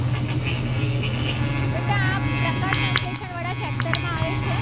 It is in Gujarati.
પ્રકાશસંશ્લેષણ વાળા chapter માં આવે છે.